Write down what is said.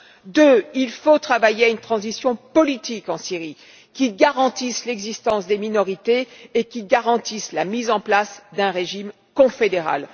Deuxièmement, il faut travailler à une transition politique en Syrie qui garantisse l'existence des minorités ainsi que la mise en place d'un régime confédéral.